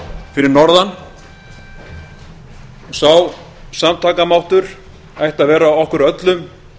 fyrir norðan sá samtakamáttur ætti að vera okkur öllum